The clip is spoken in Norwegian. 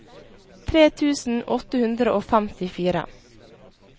tre tusen åtte hundre og femtifire